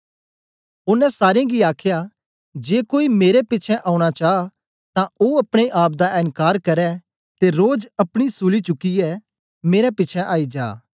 ओनें सारे गी आखया जे कोई मेरे पिछें औना चा तां ओ अपने आप दा एनकार करै ते रोज अपना सूली चुकियै मेरे पिछें आई जा